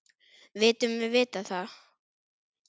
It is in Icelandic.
Vitum við það?